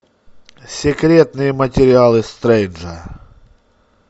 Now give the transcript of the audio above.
секретные материалы стрейнджа